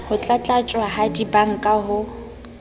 ho tlatlaptjwa ha dibanka ho